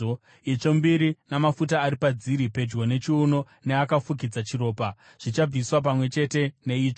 itsvo mbiri namafuta ari padziri pedyo nechiuno neakafukidza chiropa, zvichabviswa pamwe chete neitsvo.